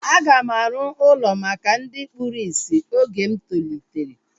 A ga m arụ ụlọ maka ndị kpụrụ isi oge m tolitere